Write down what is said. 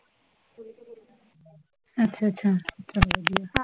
ਅੱਛਾ ਅੱਛਾ, ਚਲੋ ਵਧੀਆ